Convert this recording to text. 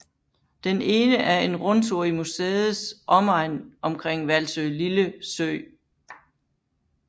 Den ene er en rundtur i museets omegn omkring Valsølille Sø